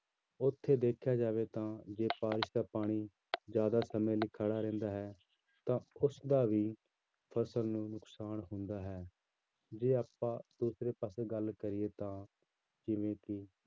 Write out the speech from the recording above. ਉੱਥੇ ਦੇਖਿਆ ਜਾਵੇ ਤਾਂ ਜੇ ਬਾਰਿਸ਼ ਦਾ ਪਾਣੀ ਜ਼ਿਆਦਾ ਸਮੇਂ ਲਈ ਖੜਾ ਰਹਿੰਦਾ ਹੈ ਤਾਂ ਉਸਦਾ ਵੀ ਫ਼ਸਲ ਨੂੰ ਨੁਕਸਾਨ ਹੁੰਦਾ ਹੈ, ਜੇ ਆਪਾਂ ਦੂਸਰੇ ਪਾਸੇ ਗੱਲ ਕਰੀਏ ਤਾਂ ਜਿਵੇਂ ਕਿ